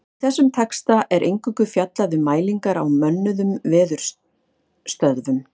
Í þessum texta er eingöngu fjallað um mælingar á mönnuðum veðurstöðvum.